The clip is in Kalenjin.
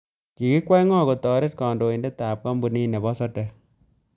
Kigikwei ngo kotoret kandoindetab kampunit nebo sodek